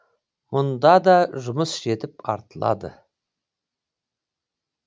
мұнда да жұмыс жетіп артылады